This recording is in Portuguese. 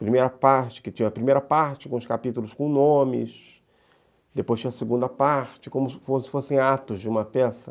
Primeira parte, que tinha a primeira parte com os capítulos com nomes, depois tinha a segunda parte, como se fossem atos de uma peça.